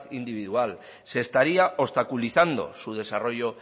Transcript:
individual se estaría obstaculizando su desarrollo